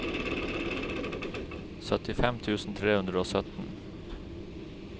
syttifem tusen tre hundre og sytten